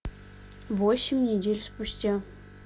восемь недель спустя